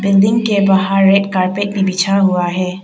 Building के बाहर एक कारपेट भी बिछा हुआ है।